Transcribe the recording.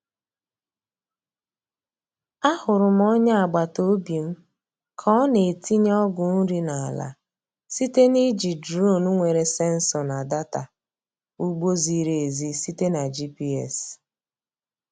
A hụrụ m onye agbata obi m ka ọ na-etinye ọgwụ nri n’ala site na iji duronu nwere sensọ na data ugbo ziri ezi site na GPS.